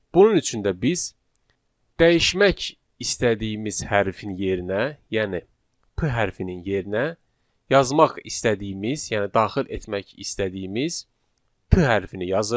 Bunun üçün də biz dəyişmək istədiyimiz hərfin yerinə, yəni p hərfinin yerinə yazmaq istədiyimiz, yəni daxil etmək istədiyimiz p hərfi yazırıq.